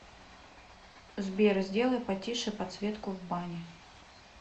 сбер сделай потише подсветку в бане